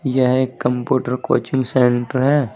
यह एक computer coaching centre है।